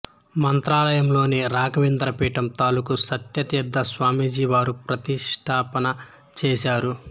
మంత్రాలయలోని రాఘవేంద్ర పీఠం తాలూకూ సత్య తీర్థ స్వామిజీ వారు ప్రతిష్టాపన చేశారు